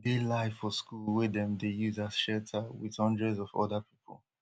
e dey live for school wey dem dey use as shelter wit hundreds of oda pipo